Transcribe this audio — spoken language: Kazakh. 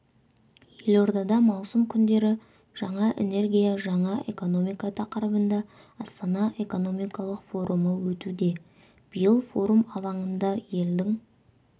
елордада маусым күндері жаңа энергия жаңа экономика тақырыбында астана экономикалық форумы өтуде биыл форум алаңында елдің